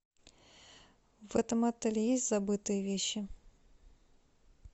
в этом отеле есть забытые вещи